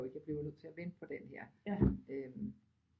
Jo ikke jeg blev jo nødt til at vente på denne her øh